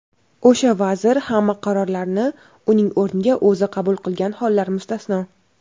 o‘sha vazir hamma qarorlarni uning o‘rniga o‘zi qabul qilgan hollar mustasno.